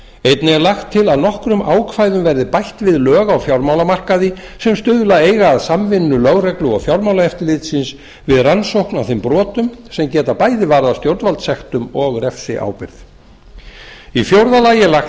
einnig er lagt til að nokkrum ákvæðum verði bætt við lög á fjármálamarkaði sem stuðla eiga að samvinnu lögreglu og fjármálaeftirlitsins við rannsókn á þeim brotum sem geta bæði varðað stjórnvaldssektum og refsiábyrgð fjórða lagt er til